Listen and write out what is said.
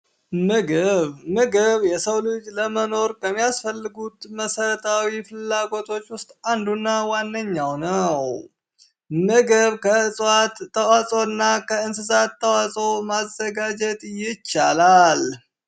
ምግብ ምግብ ለሰው ልጆች ለመኖር ከሚያስፈልጉት መሰረታዊ ፍላጎቶች ውስጥ አንዱ እና ዋነኛው ነው። ምግብ ከእፅዋት ተዋፅኦ እና ከእንስሳት ተዋፅኦ ማዘጋጀት ይቻላል።